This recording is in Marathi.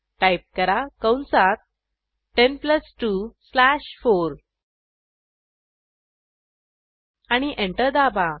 टाईप करा कंसात 10 प्लस 2 स्लॅश 4 आणि एंटर दाबा